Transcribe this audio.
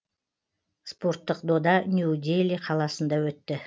спорттық дода нью дели қаласында өтті